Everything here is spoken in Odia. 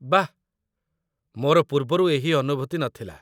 ବାଃ। ମୋର ପୂର୍ବରୁ ଏହି ଅନୁଭୂତି ନଥିଲା।